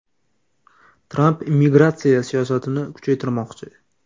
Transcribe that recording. Tramp immigratsiya siyosatini kuchaytirmoqchi.